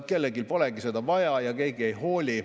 Kellelgi polegi seda vaja ja keegi ei hooli.